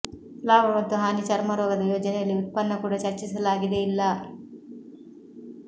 ಲಾಭ ಮತ್ತು ಹಾನಿ ಚರ್ಮರೋಗದ ಯೋಜನೆಯಲ್ಲಿ ಉತ್ಪನ್ನ ಕೂಡ ಚರ್ಚಿಸಲಾಗಿದೆ ಇಲ್ಲ